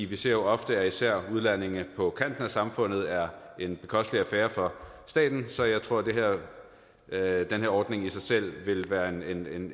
vi ser jo ofte at især udlændinge på kanten af samfundet er en bekostelig affære for staten så jeg tror at den her ordning i sig selv vil være en